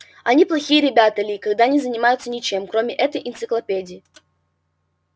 они плохие ребята ли когда не занимаются ничем кроме этой энциклопедии